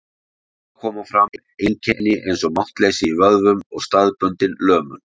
Þá koma fram einkenni eins og máttleysi í vöðvum og staðbundin lömun.